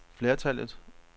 flertallet